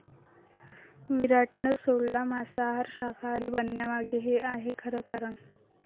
विराटनं सोडला मांसाहार, शाकाहारी बनण्यामागे हे आहे खरं कारण